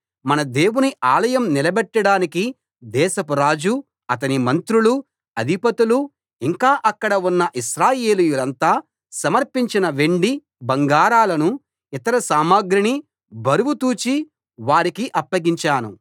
మన దేవుని ఆలయం నిలబెట్టడానికి దేశపు రాజు అతని మంత్రులు అధిపతులు ఇంకా అక్కడ ఉన్న ఇశ్రాయేలీయులంతా సమర్పించిన వెండి బంగారాలను ఇతర సామగ్రిని బరువు తూచి వారికి అప్పగించాను